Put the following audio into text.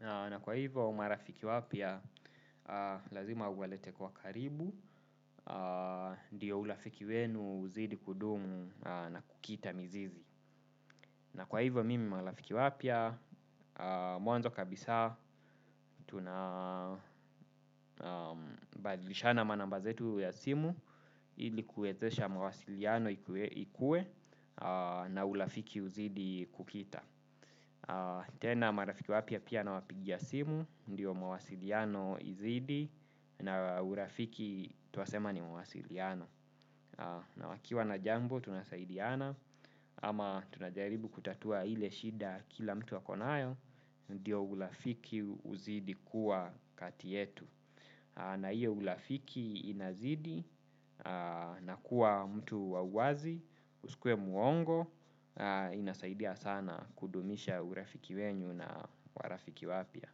Na kwa hivo marafiki wapya lazima uwalete kwa karibu, ndiyo urafiki wenu uzidi kudumu na kukita mizizi. Na kwa hivyo mimi marafiki wapya mwanzo kabisa tunabadilishana namba zetu ya simu ilikuwezesha mawasiliano ikuwe na urafiki uzidi kukita. Tena marafiki wapyaa pia na wapigia simu ndio mawasiliano izidi na urafiki twasema ni mawasiliano. Na wakiwa na jambo tunasaidiana ama tunajaribu kutatua ile shida kila mtu akonayo ndio urafiki uzidi kuwa kati yetu na iyo urafiki inazidi na kuwa mtu wa wazi usikuwe mwongo inasaidia sana kudumisha urafiki wenyu na urafiki wapya.